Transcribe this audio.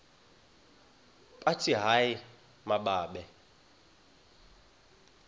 bathi hayi mababe